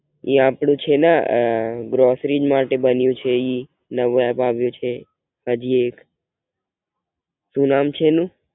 એઇ આપડે છે ને ગ્રોસરી માટે બન્યું છે ઈ નવું એપ આવ્યું છે હાજી એક, સુ નામ છે એનું?